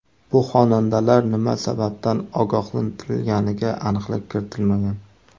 Bu xonandalar nima sababdan ogohlantirilganiga aniqlik kiritilmagan.